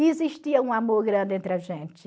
E existia um amor grande entre a gente.